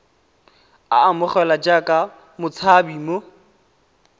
a amogelwe jaaka motshabi mo